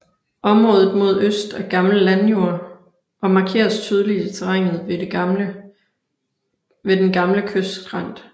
Området mod øst er gammel landjord og markeres tydeligt i terrænet ved den gamle kystskrænt